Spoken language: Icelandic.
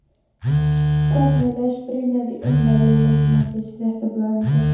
Hvernig les Brynjar í ummæli leikmannsins í Fréttablaðinu í gær?